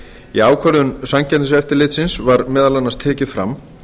í ákvörðun samkeppniseftirlitsins var meðal annars tekið fram